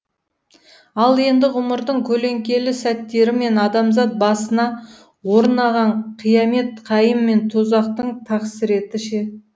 ал енді ғұмырдың көлеңкелі сәттері мен адамзат басына орынаған қиямет қайым мен тозақтың тақсіреті ше